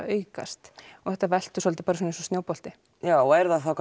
aukast og þetta veltur svolítið eins og snjóbolti já og er það þá